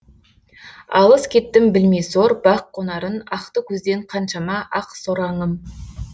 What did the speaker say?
алыс кеттім білмей сор бақ қонарын ақты көзден қаншама ақ сораңым